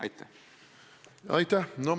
Aitäh!